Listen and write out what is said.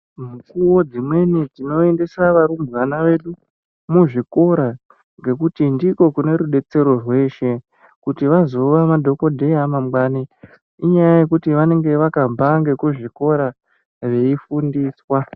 Mukuwo dzimweni tinoendesa varumbwana vedu muzvikora, ngekuti ndiko kune rudetsero rweshe, kuti vazova madhokodheya a mangwani, inyaya yekuti vanenge vakabva ngekuzvikora, veifundiswa.